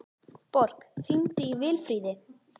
Borg, hringdu í Vilfríði.